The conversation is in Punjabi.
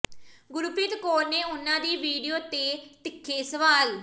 ਗੁਰਪ੍ਰੀਤ ਕੌਰ ਨੇ ਉਹਨਾਂ ਦੀ ਵੀਡੀਓ ਤੇ ਤਿੱਖੇ ਸਵਾਲ